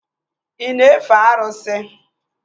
Ị na-efe arụsị?